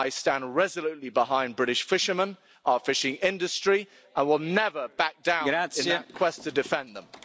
I stand resolutely behind British fishermen and our fishing industry. I will never back down in that quest to defend them.